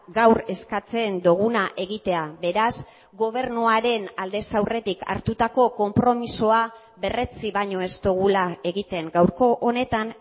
gaur eskatzen duguna egitea beraz gobernuaren aldez aurretik hartutako konpromisoa berretsi baino ez dugula egiten gaurko honetan